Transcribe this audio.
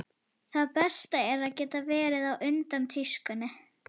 Það besta er að geta verið á undan tískunni.